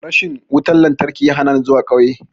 Rashin wutan-lantarki ya hanani zuwa ƙauye.